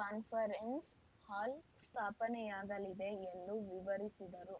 conference hall ಸ್ಥಾಪನೆಯಾಗಲಿದೆ ಎಂದು ವಿವರಿಸಿದರು